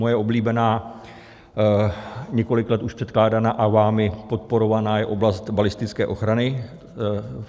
Moje oblíbená, několik let už předkládaná a vámi podporovaná je oblast balistické ochrany.